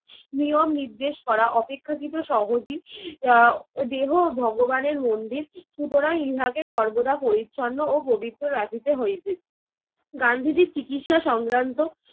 নিয়ম নির্দেশ করা অপেক্ষাকৃত সহজই। আহ দেহ ভগবানের মন্দির, সুতরাং ইহাকে সর্বদা পরিচ্ছন্ন ও পবিত্র রাখিতে হইবে। গান্ধিজীর চিকিৎসা সংক্রান্ত